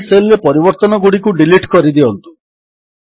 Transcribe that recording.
ଏହି ସେଲ୍ ରେ ପରିବର୍ତ୍ତନଗୁଡ଼ିକୁ ଡିଲିଟ୍ କରିଦିଅନ୍ତୁ